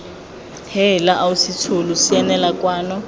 heela ausi tsholo sianela kwano